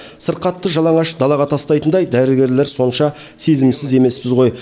сырқатты жалаңаш далаға тастайтындай дәрігерлер сонша сезімсіз емеспіз ғой